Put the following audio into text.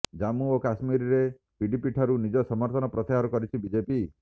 ଜାମ୍ମୁ ଓ କାଶ୍ମୀରରେ ପିଡିପିଠାରୁ ନିଜ ସମର୍ଥନ ପ୍ରତ୍ୟାହାର କରିଛି ବିଜେପି